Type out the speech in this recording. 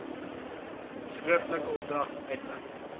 skriftelike opdragte uitreik